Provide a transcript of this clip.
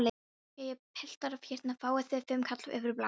Jæja piltar, hérna fáið þið fimmkall fyrir blaðið!